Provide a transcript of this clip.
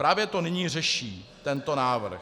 Právě to nyní řeší tento návrh.